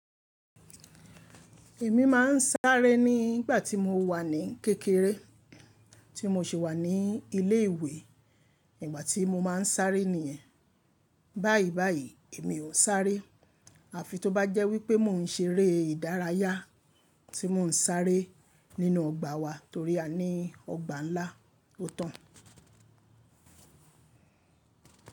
Èmi máa ń sáré ní ìgbà tí mo wà ní kékeré, tí mo se wà ní ilé ìwé, ìgbà tí mo máa ń sáré niyẹn. Báyìí báyìí èmi ò sáré, àfi tó bá jẹ́ wípé mò ń ṣeré ìdárayá tí mò ń sáré nínú ọgbà wa torí a ní ọgbà ńlá o tan.